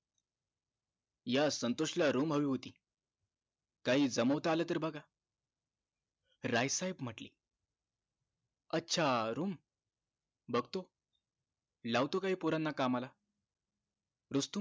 या संतोष ला room होती काही जमवता आलं तर बघा राय साहेब म्हंटले अच्छा room बघतो लावतो काही पोरांना कामाला रुस्तम